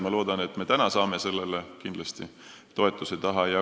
Ma loodan, et me ka täna saame sellele toetuse taha.